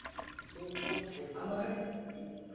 তোর খবর বল